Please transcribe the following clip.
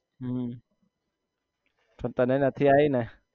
હમ પણ તને નથી આવી ને